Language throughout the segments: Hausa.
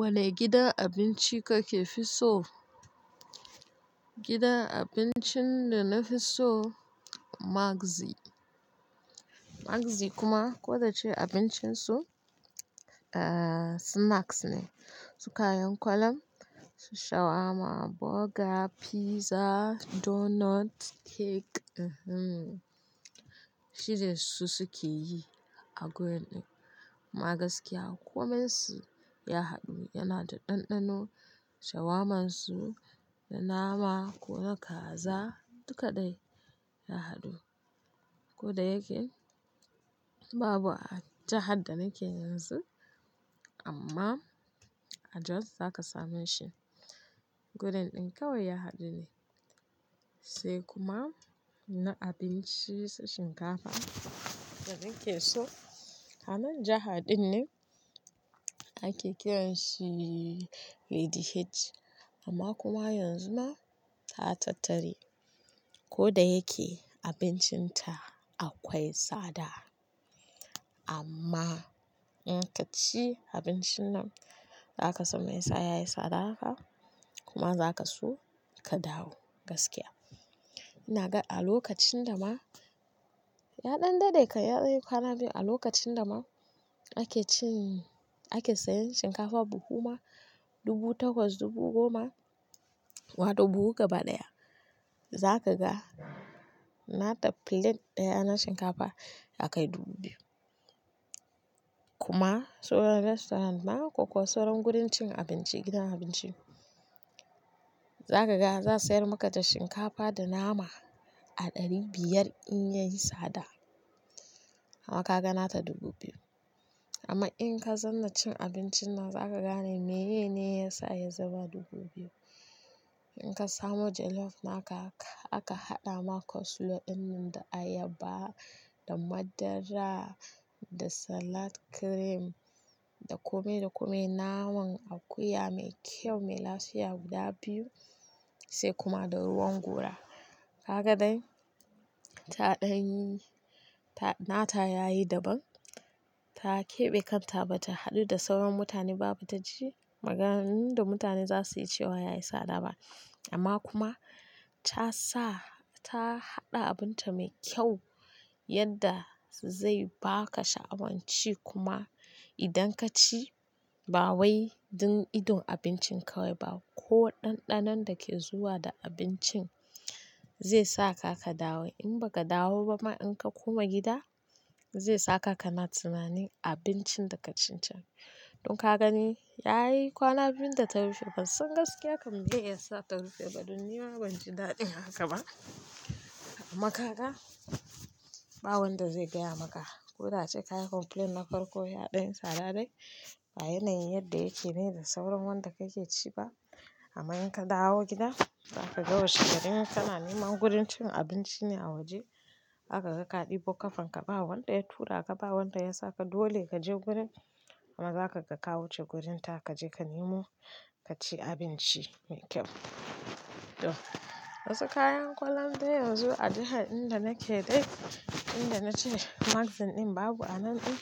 Wane gidan abinci kake fiso? Gidan abincin da na fi so Magzi. Magzi kuma ko da abincin su snacks ne, su kayan kwallan, shawarma, burger, pizza, donut, cake. Shin su suke yi a wurin ɗin? Amma gaskiya komai su ya haɗu. Yana da ɗanɗano, shawarma su da nama ko da kaza duka dai ya haɗu. Ko da yake babu a jahar da nake yanzu amma a Jos za ka same shi. Wurin ɗin kawai ya haɗu ne sai kuma na abinci shinkafa da nake so. A nan jaha din ne ake kiranshi Lady H amma kuma yanzu na ta tattari. Ko da yake abincin ta akwai tsada amma in ka ci abincin nan za ka san me ya sa ya yi tsada kuma za ka so ka dawo gaskiya. Na ga a lokacin da ma ya ɗan dade, ya yi kwana biyu a lokacin da ma ake ci ake sayan shinkafa buhu ma dubu takwas, dubu goma wato buhu gaba ɗaya. Za ka ga nata plate ɗaya na shinkafa aka yi dubu biyu. Kuma sauran restaurant ma ko sauran gurin cin abinci, gidan abinci za ka ga za a sayar maka da shinkafa da nama a ɗari biyar in ya yi tsada amma ka ga nata dubu biyu. Amma in ka zanna cin abincin nan za ka gane mene ne ya sa ya zama dubu biyu. In ka samu jollof naka aka haɗa maka sulu in nan da ayaba da madara, da salad cream, da kome da kome naman akuya mai kyau, mai lafiya guda biyu sai kuma da ruwan gora. Kaga dai taɗan nata yayi daban. Ta keɓe kanta ba ta haɗu da sauran mutane ba, ba ta ji maganan da mutane za su yi cewa ya yi tsada ba. Amma kuma ta sa-- ta haɗa abin ta mai kyau yadda zai baka sha'awanci kuma idan ka ci ba wai duk idon abincin kawai ba ko ɗanɗanon da ke zuwa da abincin zai sa ka ka dawo. In ba ka dawo ba ma in ka koma gida zai sa ka ka na tunanin abincin da ka ci can. Don ka gani ya yi kwana biyun da ta rufe ba sun gaskiya ka mai dai ya sa ta rufe ba don ni ma ban ji daɗin haka ba. Amma ka ga ba wanda zai gaya maka ko da cika ka complaint na farko ya ɗan tsada dai. Ba yanayin yadda yake ne da sauran wanda ka ke ci ba. Amma in ka dawo gida za ka ga washe gari ne ka na nema gurin cin abinci ne a waje. Za ka ga kaɗi bokafin ka ba wanda ya tura ka, ba wanda ya sa ka dole ka je gurin amma za ka ga ka wuce gurin ta ka je ka nemo ka ci abinci mai kyau. To wasu kayan kwallon dai yanzu a jiha inda nake dai inda na ce Magzin in babu a nan in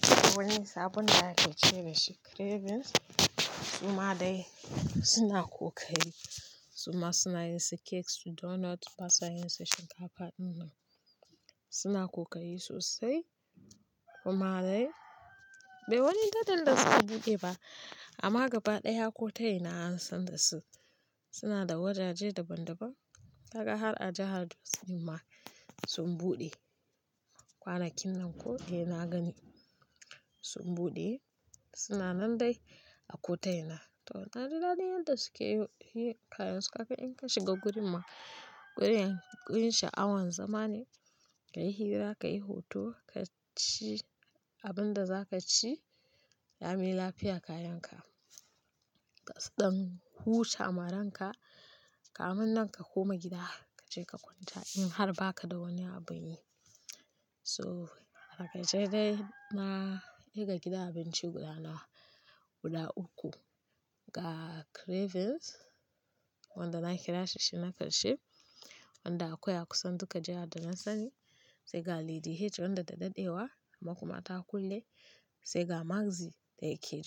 saboda sabon da aka cire shi Cravings kuma dai suna ko kari. Kuma suna yin sekes da donut ba sa yin se shinkafa in nan. Suna kokarii sosai kuma dai bai wani datan da suka buɗe ba amma gaba ɗaya kotona an san da su. Suna da wajaje daban daban. Kaga har a jahar Jos ma sun buɗe kwanakin nan ko dai na gani sun buɗe. Suna nan dai a kotona. To na ji daɗin yadda suke yi kayan su haka in ka shiga gurin ma kuriyan gurin sha'awan zama ne, ka yi hira, ka yi hoto, ka ci abin da za ka ci ya yi lafiya kayan ka. Tasa ɗan huta amaran ka. Kamun nan ka koma gida ka je ka kwanta in har ba ka da wani abu a yi. So haka ce dai na kiga gidan abinci guda na guda uku. Ga Cravings wanda na kira shi shinaka shi wanda akwai akusan duka jiha da na sani, sai ga Lady H wanda da dadewa amma kuma ta kulle sai ga Magzi da yake.